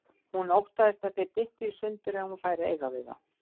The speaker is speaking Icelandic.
Hún óttaðist að þeir dyttu í sundur ef hún færi að eiga við þá.